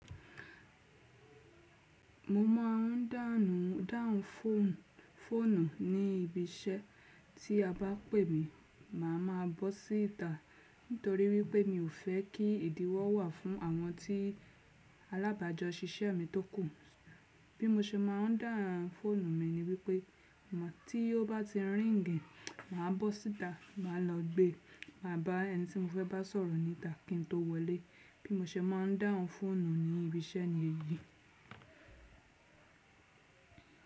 Mo máa ń dàhun ǹ dáhùn foonu fóònù ní ibi iṣẹ́ tí a bá pè mí, màá ma bọ́ síta nítorí wípé mi ò fẹ́ kí ìdíwọ́ wà fún àwọn tí alábàjọ́ ṣíṣẹ́ mi tókù. Bí mo ṣe má n dàhùn fóònù mi ni wípé tí ó bá ti ríìngì, màá bọ́ síta, màá lọ gbé, màá bá ẹni tí mo fẹ́ bá sọ̀rọ̀ níta kí n tó wọlé. Bí mo ṣe má n dàhùn fóònù ní ibi iṣẹ́ ni èyí.